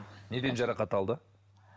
неден жарақат алды